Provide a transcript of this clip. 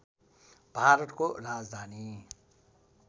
भारतको राजधानी